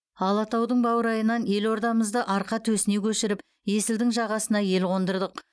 алатаудың баурайынан елордамызды арқа төсіне көшіріп есілдің жағасына ел қондырдық